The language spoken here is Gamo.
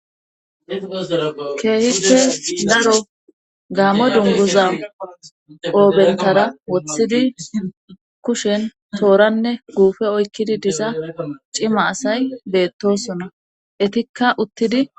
keehife daro gaamo dunguza qoobentara woththidi kushen tooranne guufe oykkidi diza cima asay beettoyssona ettikka uttidi